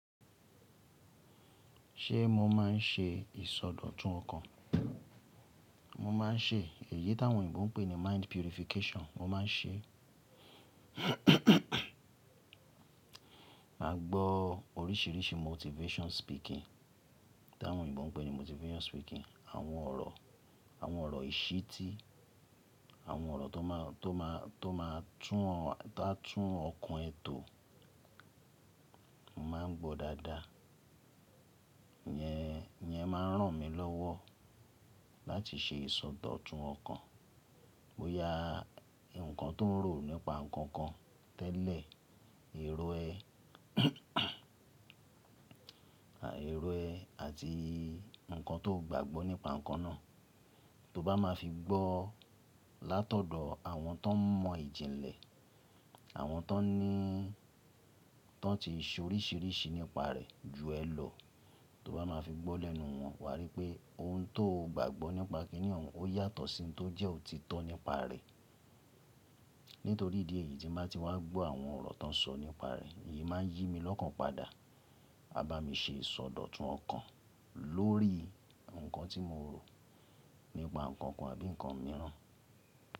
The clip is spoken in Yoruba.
Ṣé mo máa ń ṣe ìsọdọ̀tun ọkàn? Mo máa ń ṣe èyí tí àwọn Yorùbá ń pè ní mind purification. Mo máa ń ṣe, màá gbọ́ oríṣiríṣi motivation speaking, tí àwọn Yorùbá ń pè ní motivation speaking. Àwọn ọ̀rọ̀, àwọn ọ̀rọ̀ ìṣítí, àwọn ọ̀rọ̀ tó máa, tó máa, tó máa tún ọ̀, táa tún ọkàn ẹ tò. Mo máa ń gbọ́ dáadáa. Yẹn, yẹn máa ń ràn mí lọ́wọ́ láti ṣe ìsọdọ̀tun ọkàn. Boya ǹkan tó rò nípa nǹkan kan tẹ́lẹ̀, èrò ẹ, à, èrò ẹ àti ǹkan tó gbàgbọ́ nípa nǹkan náà. Tó bá máa fi gbọ́ látọ̀dọ̀ àwọn tó mọ ìjìnlẹ̀, àwọn tó níí, tó ti ṣe oríṣiríṣi nípa rẹ̀ ju ẹ lọ. Tó bá máa fi gbọ́ lẹ́nu wọn, wà á rí pé ohun tó o gbàgbọ́ nípa kíní ọ̀ún, ó yàtọ̀ sí ohun tó jẹ́ o ti tọ́ nípa rẹ̀. Nítorí ìdí èyí tí máa ti wá gbọ́ àwọn ọ̀rọ̀ tó ń sọ nípa rẹ̀, èyí máa ń yí mi lọ́kàn padà, á bá mi ṣe ìsọdọ̀tun ọkàn lórí ǹkan tí mo rò nípa nǹkan kan àbí ǹkan mìíràn.